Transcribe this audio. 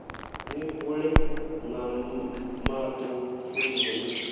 ni vule maṱo pfunzo ni